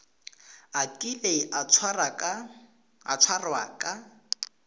a kile a tshwarwa ka